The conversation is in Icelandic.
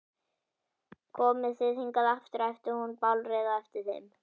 Komið þið hingað aftur! æpti hún bálreið á eftir þeim.